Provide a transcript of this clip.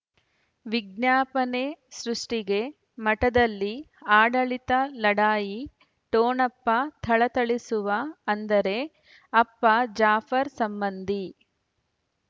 ವಿಜ್ಞಾಪನೆ ಸೃಷ್ಟಿಗೆ ಮಠದಲ್ಲಿ ಆಡಳಿತ ಲಢಾಯಿ ಠೊಣಪ ಥಳಥಳಿಸುವ ಅಂದರೆ ಅಪ್ಪ ಜಾಫರ್ ಸಂಬಂಧಿ